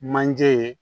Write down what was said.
Manje ye